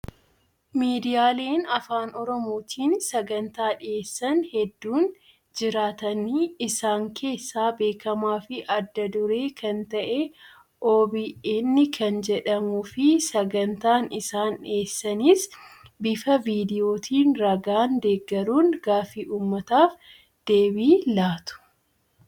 Miidiyaaleen afaan oromootiin sagantaa dhiyeessan hedduun jiraatani isaan keessaa beekamaa fi adda duree kan ta'e "OBN" kan jedhamuu fi sagantaan isaan dhiyeessanis bifa viidiyootiin ragaan deeggaruun gaaffii uummataaf deebii laatu.